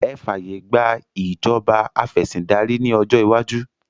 Ẹ fàyè gbà ìjọba afẹ̀sìndárí ní ọjọ́ iwájú!